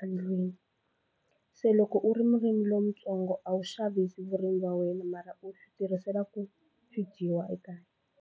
a ndlwini se loko u ri murimi lontsongo a wu xavisi vurimi wa wena mara u swi tirhisela ku swi dyiwa ekaya.